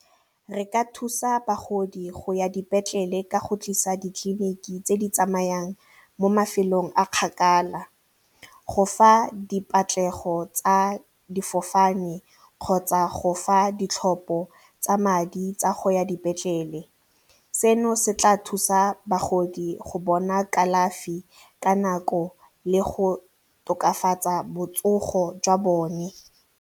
Re ka thusa bagodi go ya dipetlele ka go tlisa ditleliniki tse di tsamayang mo mafelong a kgakala, go fa dipatlego tsa difofane kgotsa go fa ditlhopho tsa madi tsa go ya dipetlele. Seno se tla thusa bagodi go bona kalafi ka nako le go tokafatsa botsogo jwa bone.